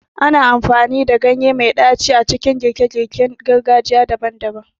Ana amfani da ganye mai ɗaci a cikin girke-girke na gargajiya daban-daban.